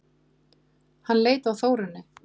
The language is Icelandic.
Hann leit á Þórunni.